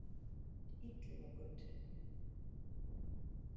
Illugagötu